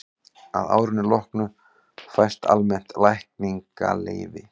að árinu loknu fæst almennt lækningaleyfi